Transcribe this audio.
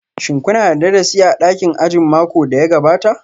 Shin kuna da darasi a dakin ajin makon da ya gabata?